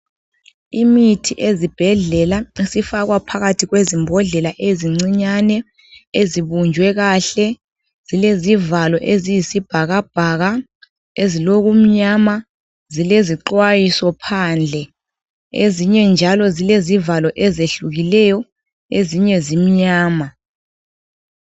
Imithi ezibhedlela isifakwa phakathi kwezimbodlela ezincinyane ezibunjwe kahle, zilezivalo eziyisibhakabhaka ezilokumnyama. Zilezixwayiso phandle ezinye njalo zilezivalo ezehlukileyo ezinye zimnyama.